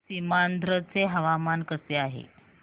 सीमांध्र चे हवामान कसे आहे